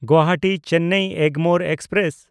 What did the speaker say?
ᱜᱩᱣᱟᱦᱟᱴᱤ–ᱪᱮᱱᱱᱟᱭ Egmore express